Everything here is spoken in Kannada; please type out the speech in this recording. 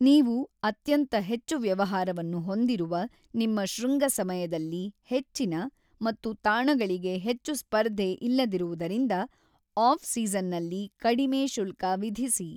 ನೀವು ಅತ್ಯಂತ ಹೆಚ್ಚು ವ್ಯವಹಾರವನ್ನು ಹೊಂದಿರುವ ನಿಮ್ಮ ಶೃಂಗ ಸಮಯದಲ್ಲಿ ಹೆಚ್ಚಿನ , ಮತ್ತು ತಾಣಗಳಿಗೆ ಹೆಚ್ಚು ಸ್ಪರ್ಧೆ ಇಲ್ಲದಿರುವುದರಿಂದ ಆಫ್- ಸೀಸನ್ನಲ್ಲಿ ಕಡಿಮೆ ಶುಲ್ಕ ವಿಧಿಸಿ.